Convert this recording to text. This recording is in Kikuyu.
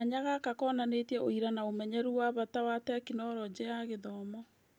Kanya gaka konanĩtie ũira na ũmenyeru wa bata wa Tekinoronjĩ ya Gĩthomo